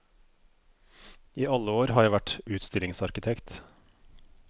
I alle år har jeg vært utstillingsarkitekt.